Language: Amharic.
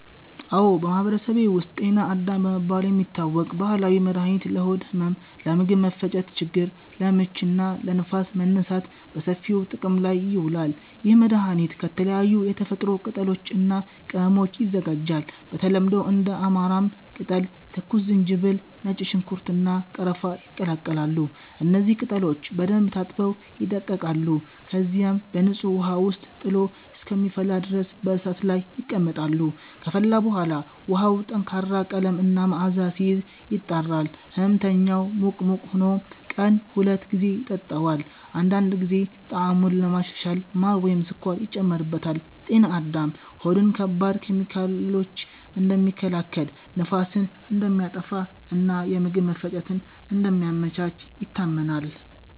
አዎ፣ በማህበረሰቤ ውስጥ “ጤና አዳም” በመባል የሚታወቅ ባህላዊ መድኃኒት ለሆድ ህመም፣ ለምግብ መፈጨት ችግር (ለምች) እና ለንፋስ መነሳት በሰፊው ጥቅም ላይ ይውላል። ይህ መድኃኒት ከተለያዩ የተፈጥሮ ቅጠሎች እና ቅመሞች ይዘጋጃል። በተለምዶ እንደ አማራም ቅጠል፣ ትኩስ ዝንጅብል፣ ነጭ ሽንኩርት፣ እና ቀረፋ ይቀላቀላሉ። እነዚህ ቅጠሎች በደንብ ታጥበው ይደቀቃሉ፣ ከዚያም በንጹህ ውሃ ውስጥ ጥሎ እስከሚፈላ ድረስ በእሳት ላይ ይቀመጣሉ። ከፈላ በኋላ ውሃው ጠንካራ ቀለም እና መዓዛ ሲይዝ፣ ይጣራል። ሕመምተኛው ሙቅ ሙቅ ሆኖ ቀን ሁለት ጊዜ ይጠጣዋል። አንዳንድ ጊዜ ጣዕሙን ለማሻሻል ማር ወይም ስኳር ይጨመርበታል። “ጤና አዳም” ሆድን ከባድ ኬሚካሎች እንደሚከላከል፣ ንፋስን እንደሚያጠፋ እና የምግብ መፈጨትን እንደሚያመቻች ይታመናል።